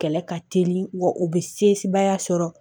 Kɛlɛ ka teli wa u bɛ sebaya sɔrɔ